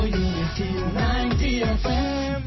radio unity ninety F